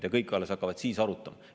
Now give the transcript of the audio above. Ja kõik hakkavad alles siis arutama.